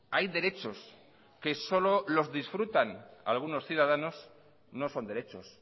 hay derechos que solo los disfrutan algunos ciudadanos no son derechos